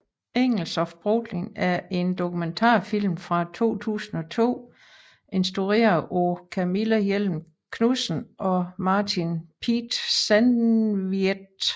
Angels of Brooklyn er en dokumentarfilm fra 2002 instrueret af Camilla Hjelm Knudsen og Martin Pieter Zandvliet